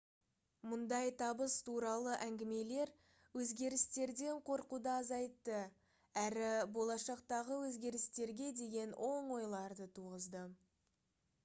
мұндай табыс туралы әңгімелер өзгерістерден қорқуды азайтты әрі болашақтағы өзгерістерге деген оң ойларды туғызды